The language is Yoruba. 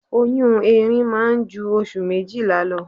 Oyún erin máa ń ju oṣù méjìlá lọ.